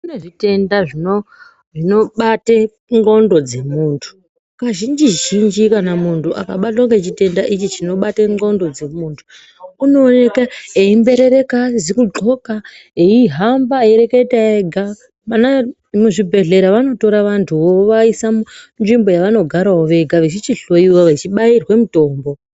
Kune zvitenda zvinobate ndxondo dzemuntu. Kazhinji zhinji kana muntu akabatwa ngechitenda ichi chinobate ndxondo dzemuntu, unooneka eimberereka asizikudloka eihamba eireketa ega. Muzvibhedhlera vanotora vantuwo vovaisa munzvimbo yevanogaravo vega vechichihloyiwa vechichibayirwe mitombo.